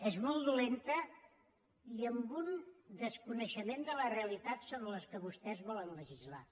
és molt dolenta i amb un desconeixement de la realitat sobre la qual vostès volen legislar